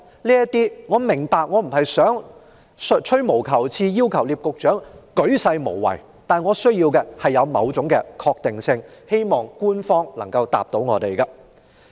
我並非在吹毛求疵，要求聶局長作出鉅細無遺的解釋，但我需要某種確定性，希望局長能夠回答。